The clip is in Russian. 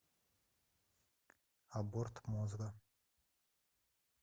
аборт мозга